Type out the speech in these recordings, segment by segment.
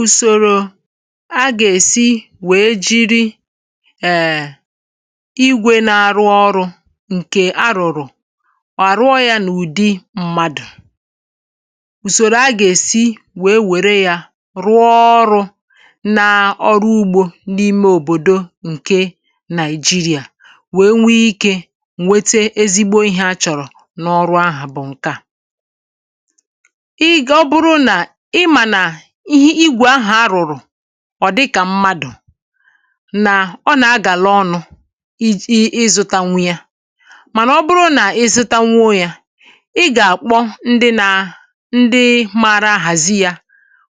Usòrò a gà-èsi wèe jiri è igwe na-àrụ ọrụ̇ ǹkè arụ̀rụ̀ àrụọ̇ yȧ n’ụ̀dị mmadụ̀ ùsòrò a gà-èsi wèe wère yȧ rụọ ọrụ̇ naa ọrụ ugbȯ n’ime òbòdo ǹke nigeria wèe nwee ikė mwete ezigbo ihė a chọ̀rọ̀ n’ọrụ ahụ̀ bụ̀ ǹke à ịga ị ịmànà ihe igwè ahụ̀ a rùrù ọ̀ dịkà mmadụ̀ nà ọ nà-agàla ọnụ̇ iji̇ ịzụtanwụ ya mànà ọ bụrụ nà ịzụtanwụ ya ị gà-àkpọ ndị na ndị maara àhàzi ya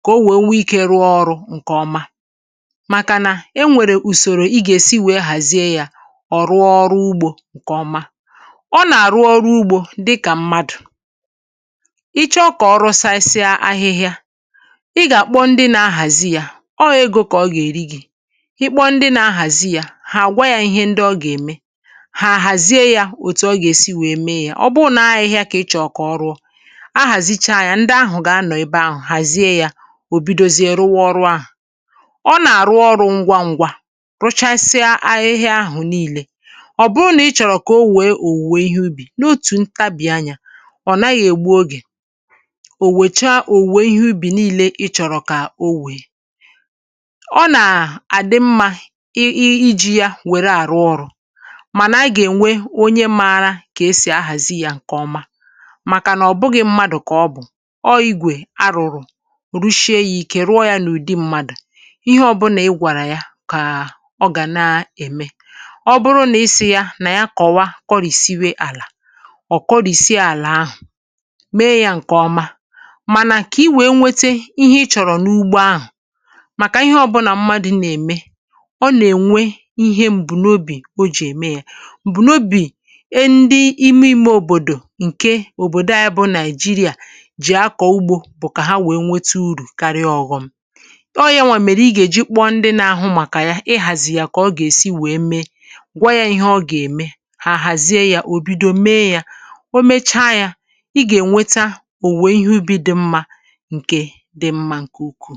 kà o wèe nwee ikė rụọ ọrụ̇ ǹkè ọma màkà nà e nwèrè ùsòrò i gà-èsi wèe hàzie ya ọ̀ rụọ ọrụ ugbȯ ǹkè ọma ọ nà-àrụ ọrụ ugbȯ dị kà mmadụ̀ ịchọ kà ọrụ saịsịa ahịhịa ị gà-àkpọ ndị nȧ-ahàzi yȧ ọ gụ̇ ego kà ọ gà-èri gị̇ ịkpọ ndị nȧ-ahàzi yȧ hà àgwa yȧ ihe ndị ọ gà-ème hà àhàzie yȧ òtù ọ gà-èsi wèe mee yȧ ọ bụrụ nà ahịhịa kà ị chọ̀kọ̀ kà ọrụọ ahàzicha yȧ ndị ahụ̀ gà-anọ̀ ebe ahụ̀ hàzie yȧ ò bidozie rụwa ọrụ ahụ̀ ọ nà-àrụ ọrụ̇ ngwa ǹgwa rụchasịa ahịhịa ahụ̀ niilė ọ̀ bụrụ nà ị chọ̀rọ̀ kà o wèe òwùwè ihe ubì n’otù ntabì anyȧ ọ̀ naghị̇ ègbu ogè onwecha owuwe ihe ubi nile ịchọrọ ka owe ọ nà-àdị mmȧ iji̇ ya wèrè àrụ ọrụ̇ mànà gà-ènwe onye maȧrȧ kà esì ahàzi yȧ ǹkè ọma màkà nà ọ̀ bụghị̇ mmadụ̀ kà ọ bụ̀ ọọ̀ igwè arụ̀rụ̀ rụshie yȧ i̇kè rụọ yȧ n’ụ̀dị mmadụ̀ ihe ọbụlà ị gwàrà ya kà ọ gà na-ème ọ bụrụ nà i sì ya nà ya kọ̀wa kọrìsie àlà ọ̀ kọrìsie àlà ahụ̀ mee yȧ ǹkè ọma mànà ka iwee nweta ihe ịchọrọ na ugbo ahụ maka ihe ọ̀bụlà mmadụ̀ nà-ème ọ nà-ènwe ihe m̀bụ̀nobì o jì ème yȧ m̀bụ̀nobì e ndị ime ime òbòdò ǹke òbòdò anyị bụ nàị̀jịrị̀à jì akọ̀ ugbȯ bụ̀ kà ha wèe nwete urù karịa ọghọm ọ yȧ nwà mèrè i gà-èji kpọ ndị nȧ-ahụ màkà ya ihàzì yà kà ọ gà-èsi wèe mee gwa yȧ ihe ọ gà-ème hà àhàzie yȧ ò bido mee yȧ o mecha yȧ ị gà-ènweta òwèe ihe ubi dị mma nke dị mma nke ukwu.